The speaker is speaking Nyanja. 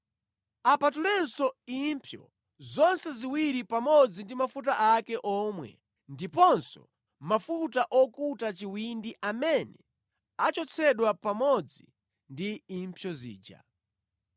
Apatulenso impsyo zonse ziwiri pamodzi ndi mafuta ake omwe ndiponso mafuta okuta chiwindi amene achotsedwa pamodzi ndi impsyo zija.